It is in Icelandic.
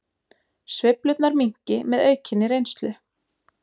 Sveiflurnar minnki með aukinni reynslu